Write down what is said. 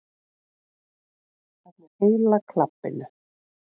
Öllu heila klabbinu.